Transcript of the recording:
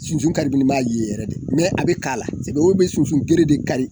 Sunsun karibini man ye yɛrɛ de mɛ a be k'a la se mɔgɔw be sunsun gere de kari